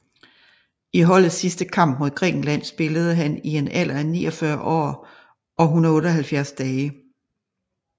I holdets sidste kamp mod Grækenland spillede han i en alder af 49 år og 178 dage